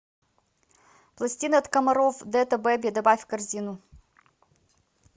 пластины от комаров дэта бэби добавь в корзину